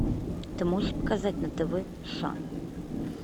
ты можешь показать на тв шан